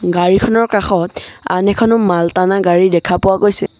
গাড়ীখনৰ কাষত আন এখনো মালটানা গাড়ী দেখা পোৱা গৈছে।